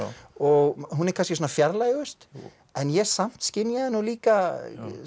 og hún er kannski svona fjarlægust en ég samt skynjaði nú líka